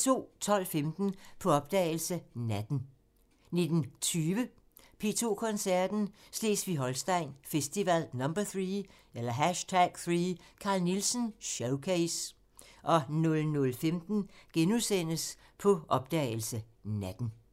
12:15: På opdagelse – Natten 19:20: P2 Koncerten – Slesvig-Holsten Festival #3 – Carl Nielsen showcase 00:15: På opdagelse – Natten *